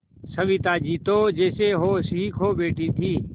सविता जी तो जैसे होश ही खो बैठी थीं